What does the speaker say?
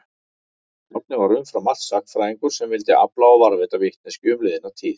Árni var umfram allt sagnfræðingur sem vildi afla og varðveita vitneskju um liðna tíð.